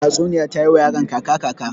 Tatsuniya ta yi wa yaron kaca-kaca.